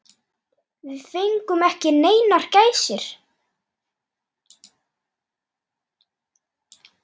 Við fengum ekki neinar gæsir.